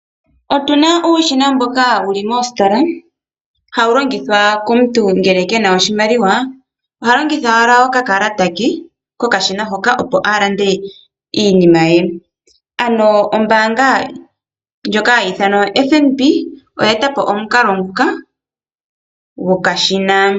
Otuna uushina mboka wuli moositola ha wu longithwa komuntu ngele kena oshimaliwa oha longitha owala okakalata ke kokashina hoka opo a lande iinima ye. Ano ombaanga ndjoka hayi ithanwa oFNb, oya eta po omukalo nguka gwokashina.